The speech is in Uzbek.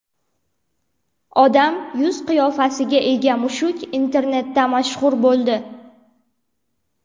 Odam yuz-qiyofasiga ega mushuk internetda mashhur bo‘ldi .